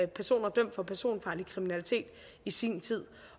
personer dømt for personfarlig kriminalitet i sin tid